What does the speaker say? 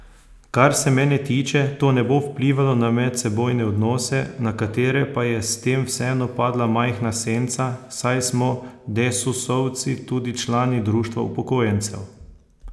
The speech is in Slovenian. Kar se mene tiče, to ne bo vplivalo na medsebojne odnose, na katere pa je s tem vseeno padla majhna senca, saj smo desusovci tudi člani društev upokojencev.